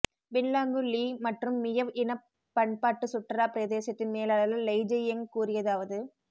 Binglanggu Li மற்றும் Miao இனப் பண்பாட்டுச் சுற்றுலாப் பிரதேசத்தின் மேலாளர் லெய்ஜியங் கூறியதாவது